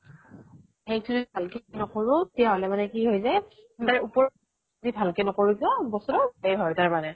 সেইতো ভাল কে নকৰো তেতিয়াহলে মানে কি হৈ যায় উপৰৰ ভাল ক নকৰো যে বস্তুতো সেই হয় তাৰ মানে